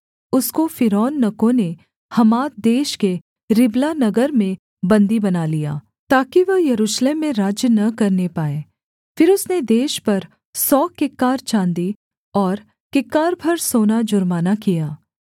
उसको फ़िरौननको ने हमात देश के रिबला नगर में बन्दी बना लिया ताकि वह यरूशलेम में राज्य न करने पाए फिर उसने देश पर सौ किक्कार चाँदी और किक्कार भर सोना जुर्माना किया